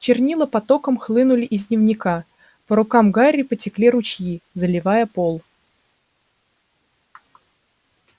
чернила потоком хлынули из дневника по рукам гарри потекли ручьи заливая пол